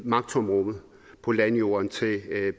magttomrummet på landjorden til